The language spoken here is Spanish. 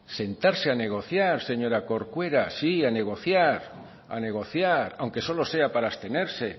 sentarse a negociar señora corcuera sí a negociar aunque solo sea para abstenerse